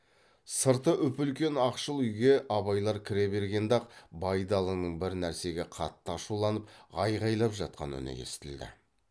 сырты үп үлкен ақшыл үйге абайлар кіре бергенде ақ байдалының бір нәрсеге қатты ашуланып айғайлап жатқан үні естілді